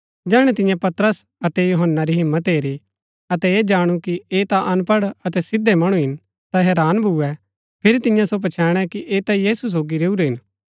जैहणै तिन्ये पतरस अतै यूहन्‍ना री हिम्मत हेरी अतै ऐह जाणु कि ऐह ता अनपढ़ अतै सिधै मणु हिन ता हैरान भूए फिरी तिन्ये सो पछैणै कि ऐह ता यीशु सोगी रैऊरै हिन